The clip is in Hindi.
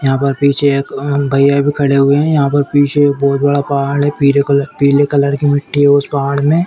यहां पर पीछे एक भैया भी खड़े हुए हैं यहां पर पीछे एक बोहोत बड़ा पहाड़ है पीले कलर पीले कलर की मिट्टी है उस पहाड़ में।